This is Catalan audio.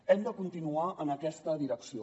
hem de continuar en aquesta direcció